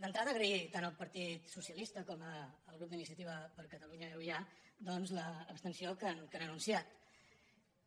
d’entrada agrair tant al partit so·cialista com al grup d’iniciativa per catalunya · euia doncs l’abstenció que han anunciat